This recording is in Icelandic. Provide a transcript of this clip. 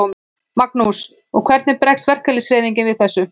Magnús: Og hvernig bregst verkalýðshreyfingin við þessu?